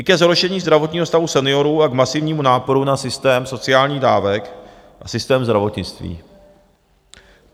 i ke zhoršení zdravotního stavu seniorů a k masivnímu náporu na systém sociálních dávek a systém zdravotnictví.